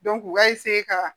u k'a ka